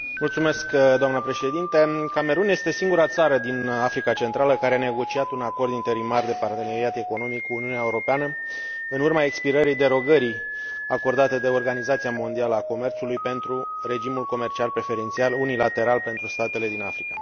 Camerun este singura țară din Africa Centrală care a negociat un acord interimar de parteneriat economic cu Uniunea Europeană, în urma expirării derogării acordate de Organizația Mondială a Comerțului pentru regimul comercial preferențial unilateral pentru statele din Africa, zona Caraibilor și Pacific.